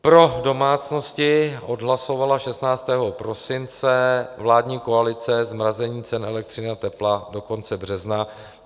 Pro domácnosti odhlasovala 16. prosince vládní koalice zmrazení cen elektřiny a tepla do konce března.